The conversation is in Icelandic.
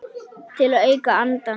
Til að auka andann.